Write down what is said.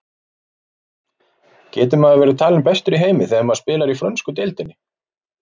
Getur maður verið talinn bestur í heimi þegar maður spilar í frönsku deildinni?